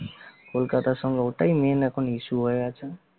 কলকাতা সঙ্গে ওটাই main এখন issue হয়ে গেছে